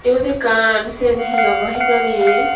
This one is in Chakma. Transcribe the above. eyot ekkan cian he obo hejani.